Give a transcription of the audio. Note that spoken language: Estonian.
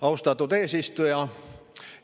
Austatud eesistuja!